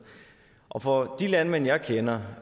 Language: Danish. og for de landmænd jeg kender